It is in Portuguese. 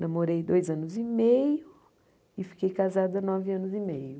Namorei dois anos e meio e fiquei casada nove anos e meio.